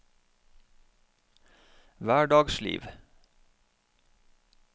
hverdagsliv